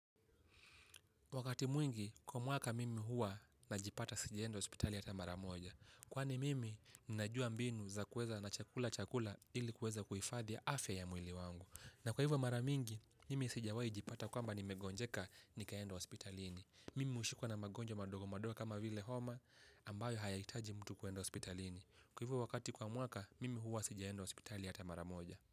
Wakati mwingi, kwa mwaka mimi huwa najipata sijaenda hospitali hata mara moja. Kwani mimi, najua mbinu za kueza na chakula chakula ili kueza kuifadhi afya ya mwili wangu. Na kwa hivyo mara mingi, mimi sijawaijipata kwamba nimegonjeka, nikaenda hospitalini. Mimi ushikwa na magonjwa madogo madogo kama vile homa, ambayo hayaitaji mtu kuenda hospitalini. Kwa hivyo wakati kwa mwaka, mimi hua sijeendo hospitali hata maramoja.